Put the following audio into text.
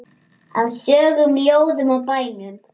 Af sögum, ljóðum og bænum.